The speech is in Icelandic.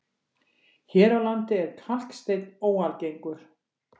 Hér á landi er kalksteinn óalgengur.